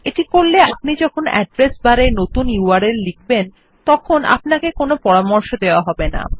এটি করলে আপনি যখন অ্যাড্রেস বারে নতুন ইউআরএল লিখবেন তখন আপনাকে কোনো পরামর্শ দেওয়া হবে না